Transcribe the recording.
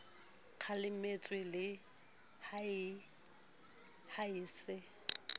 kgalemetswe le ha e se